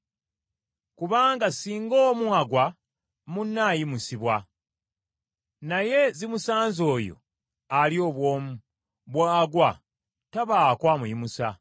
Kubanga singa omu agwa, munne amuyimusa. Naye zimusanze oyo ali obw’omu, bw’agwa tabaako amuyimusa.